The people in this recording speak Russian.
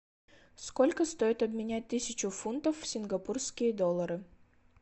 сколько стоит обменять тысячу фунтов в сингапурские доллары